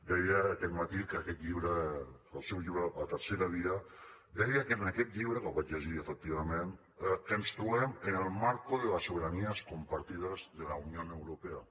deia aquest matí que aquest llibre el seu llibre la tercera víaaquest llibre que el vaig llegir efectivament que ens trobem en el marco de las soberanías compartidas de la unión europea